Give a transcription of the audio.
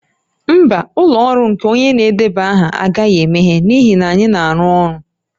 Mba, ụlọ ọrụ nke onye na-edeba aha agaghị emeghe n'ihi na anyị na-arụ ọrụ